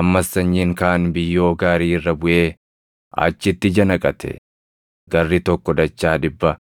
Ammas sanyiin kaan biyyoo gaarii irra buʼee achitti ija naqate; garri tokko dachaa dhibba,